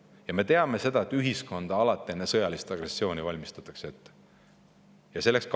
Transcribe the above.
Ja me teame seda, et enne sõjalist agressiooni valmistatakse alati ühiskonda ette.